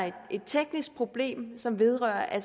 et teknisk problem som vedrører at